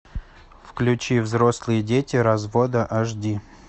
включи взрослые дети развода аш ди